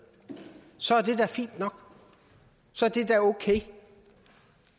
så er det da fint nok så er det da okay